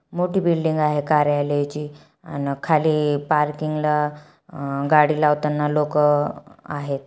मोठी बिल्डिंग कार्यालय ची आण खाली पार्किंग ला अ गाडी लावताना लोक आहेत.